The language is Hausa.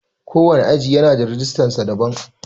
Ko wane aji yana da rijistar sa daban.